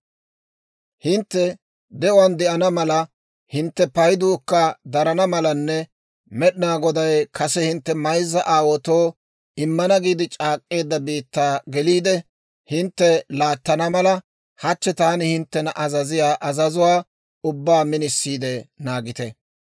«Hintte de'uwaan de'ana mala, hintte payduukka darana malanne Med'inaa Goday kase hintte mayzza aawaatoo immana giide c'aak'k'eedda biittaa geliide, hintte laattana mala, hachchi taani hinttena azaziyaa azazuwaa ubbaa minisiide naagite.